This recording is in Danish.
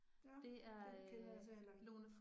Ja, den kender jeg så heller ikke